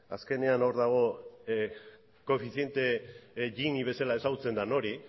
azkenean hor dago koefiziente gini bezala ezagutzen den hori